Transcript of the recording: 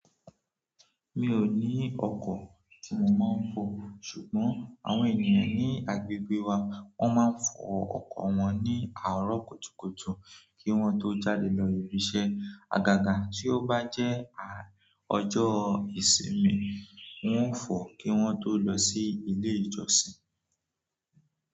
Mi ò ní ọkọ̀ tí mo máa ń fò. Ṣùgbọ́n àwọn ènìyàn ní agbègbè wa, won máa ń fò ọkọ̀ wọn ní àárọ̀ kùtùkùtù kí wọ́n tó jáde lọ ibi iṣẹ́. Àgàgà tí ó bá jẹ́ ọjọ́ ìsinmi, wọ́n ń fó kí wọ́n tó lọ sí ilé ìjọ́sìn.